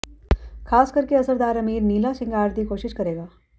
ਖ਼ਾਸ ਕਰਕੇ ਅਸਰਦਾਰ ਅਮੀਰ ਨੀਲਾ ਸ਼ਿੰਗਾਰ ਦੀ ਕੋਸ਼ਿਸ਼ ਕਰੇਗਾ